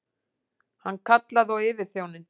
Hann kallaði á yfirþjóninn.